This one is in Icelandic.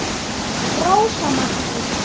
Rósa Maggý.